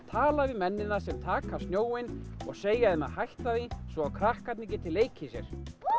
tala við mennina sem taka snjóinn og segja þeim að hætta því svo að krakkarnir geti leikið sér